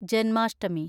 Janmashtami